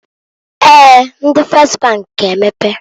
Eeǃ Ndi Fes bank g'emepe.